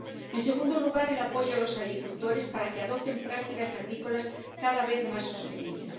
En segundo lugar, el apoyo a los agricultores para que adopten prácticas agrícolas cada vez más sostenibles.